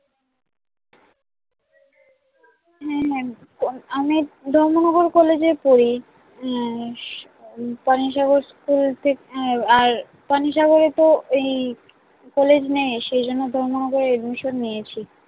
হম আমি ধর্মনগর কলেজে পড়ি উম পানিসাগর স্কুল থেক আহ আর পানিসাগরে তো এই কলেজ নেই সে জন্য ধর্মনগরে admission নিয়েছি